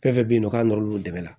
Fɛn fɛn bɛ yen nɔ k'a nɔr'olu dɛmɛ la